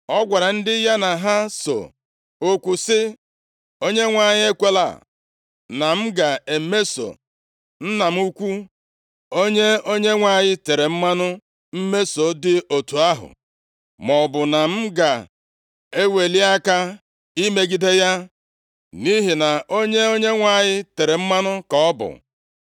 Ọ gwara ndị ya na ha so okwu sị, “ Onyenwe anyị ekwela na m ga-emeso nna m ukwu, onye Onyenwe anyị tere mmanụ mmeso dị otu ahụ, maọbụ na m ga-eweli aka imegide ya. Nʼihi na onye Onyenwe anyị tere mmanụ ka ọ bụ.”